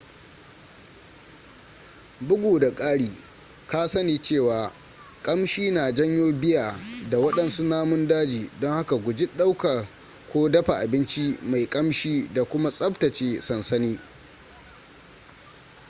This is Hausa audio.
bugu da ƙari ka sani cewa ƙamshi na janyo bear da waɗansu namun daji don haka guji ɗauka ko dafa abinci mai ƙamshi da kuma tsaftace sansani